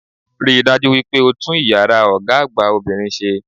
Rí dájú wípé o tún iyàrá Ògá àgbà obìnrin sé